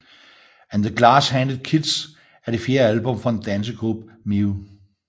And The Glass Handed Kites er det fjerde album fra den danske gruppe Mew